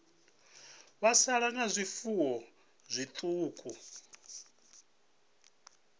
vho sala nga zwifuwo zwiṱuku